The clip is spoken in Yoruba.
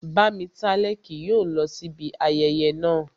Bámitálẹ́ kì yóò lọ sí ibi ayẹyẹ naa